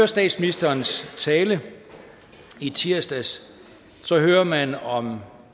statsministerens tale i tirsdags hørte man om